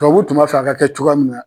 Tubabuw tun b'a fɛ a ka kɛ cogoya min na.